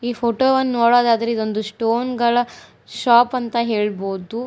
ಈ ಫೋಟೋ ವನ್ನು ನೋಡೋದಾದ್ರಾ ಇದೊಂದು ಸ್ಟೋನ್ ಗಳ ಶಾಪ್ ಅಂತ ಹೇಳಬಹುದು.